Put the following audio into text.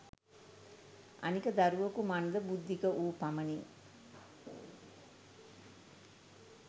අනික දරුවකු මන්ද බුද්ධික වූ පමණින්